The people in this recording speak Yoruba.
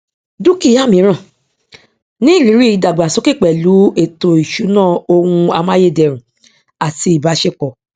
dúkìá míràn ní ìrírí ìdàgbàsókè pẹlú ètò ìṣúná ohun amáyèdẹrùn àti ìbáṣepọ